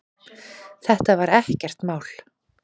Þetta var ekkert mál.